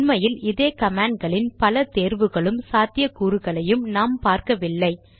உண்மையில் இதே கமாண்ட் களில் பல தேர்வுகளும் சாத்தியக்கூறுகளையும் நாம் பார்க்கவில்லை